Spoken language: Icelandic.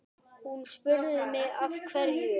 Hún spurði mig af hverju?